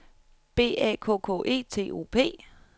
B A K K E T O P